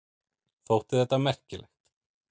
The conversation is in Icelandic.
Þótti þetta merkilegt.